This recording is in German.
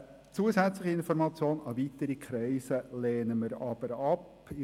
Eine zusätzliche Information an weitere Kreise lehnen wir dagegen ab.